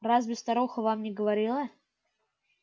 разве старуха вам не говорила